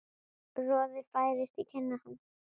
Roði færist í kinnar hans.